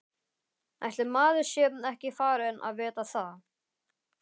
Ætli maður sé ekki farinn að vita það.